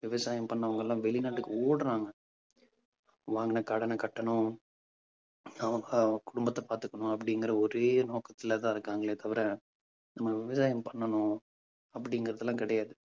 விவசாயம் பண்ணவங்க எல்லாம் வெளிநாட்டுக்கு ஓடறாங்க. வாங்கன கடனைக் கட்டணும் நம்ம குடும்பத்த பார்த்துக்கணும் அப்படிங்கிற ஒரே நோக்கத்துலதான் இருக்காங்களே தவிர நம்ம விவசாயம் பண்ணணும் அப்படிங்கிறது எல்லாம் கிடையாது.